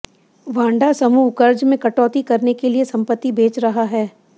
Wanda समूह कर्ज में कटौती करने के लिए संपत्ति बेच रहा है